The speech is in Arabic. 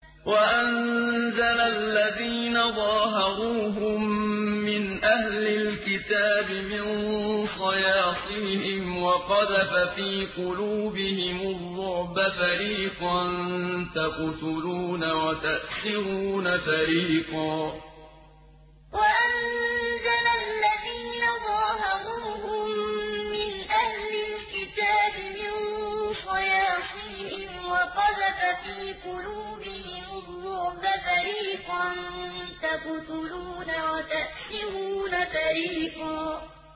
وَأَنزَلَ الَّذِينَ ظَاهَرُوهُم مِّنْ أَهْلِ الْكِتَابِ مِن صَيَاصِيهِمْ وَقَذَفَ فِي قُلُوبِهِمُ الرُّعْبَ فَرِيقًا تَقْتُلُونَ وَتَأْسِرُونَ فَرِيقًا وَأَنزَلَ الَّذِينَ ظَاهَرُوهُم مِّنْ أَهْلِ الْكِتَابِ مِن صَيَاصِيهِمْ وَقَذَفَ فِي قُلُوبِهِمُ الرُّعْبَ فَرِيقًا تَقْتُلُونَ وَتَأْسِرُونَ فَرِيقًا